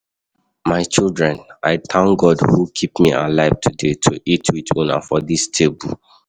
My children I thank God who keep me alive today to eat with una for dis table.